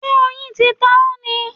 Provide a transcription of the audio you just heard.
Ṣé oyin ti ta ọ́ ni?